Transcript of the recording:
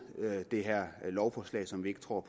det her lovforslag som vi ikke tror